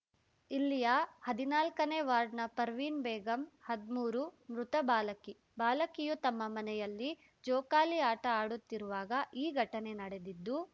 ಇಲ್ಲಿಯ ಹದಿನಾಲ್ಕನೇ ವಾರ್ಡ್‌ನ ಪರ್ವಿನ್ ಬೇಗಂ ಹದ್ಮೂರು ಮೃತ ಬಾಲಕಿ ಬಾಲಕಿಯು ತಮ್ಮ ಮನೆಯಲ್ಲಿ ಜೋಕಾಲಿ ಆಟ ಆಡುತ್ತಿರುವಾಗ ಈ ಘಟನೆ ನಡೆದಿದ್ದು